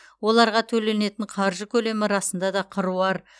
оларға төленетін қаржы көлемі расында да қыруар